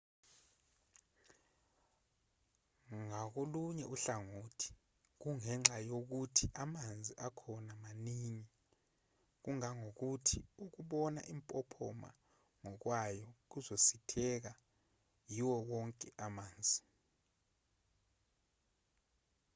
ngakolunye uhlangothi kungenxa nje yokuthi amanzi akhona maningi kangangokuba ukubona impophoma ngokwayo kuzositheka-yiwo wonke amanzi